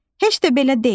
Heç də belə deyil.